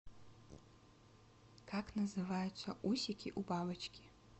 как называются усики у бабочки